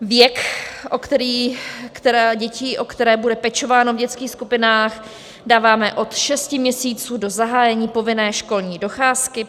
Věk dětí, o které bude pečováno v dětských skupinách, dáváme od šesti měsíců do zahájení povinné školní docházky.